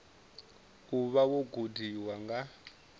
u vha wo gudiwa nga